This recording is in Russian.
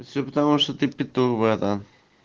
все потому что ты петух братан